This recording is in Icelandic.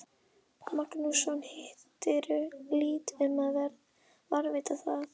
Magnússon, hirtu lítt um að varðveita það.